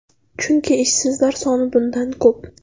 Chunki ishsizlar soni bundan ko‘p.